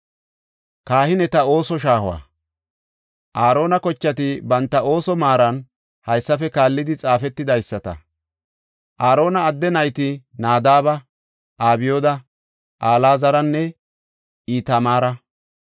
Aarona kochati banta ooso maaran haysafe kaallidi xaafetidaysata. Aarona adde nayti Nadaaba, Abyooda, Alaazaranne Itamaara.